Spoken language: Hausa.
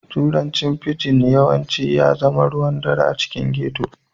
Turanci fijin yawanci ya zama ruwan ɗare a cikin ghetto